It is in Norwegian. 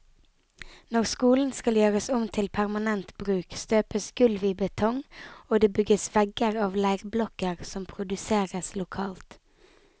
Når skolen skal gjøres om til permanent bruk, støpes gulv i betong og det bygges vegger av leirblokker som produseres lokalt.